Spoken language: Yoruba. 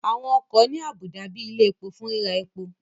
Àwọn ọkọ̀ ní àbùdá bíi ilẹ̀ epo fún ríra epo